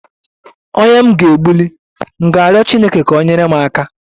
Onye m ga-egbuli m ga-riọ chineke ka ọ nyere m aka?